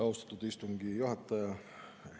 Austatud istungi juhataja!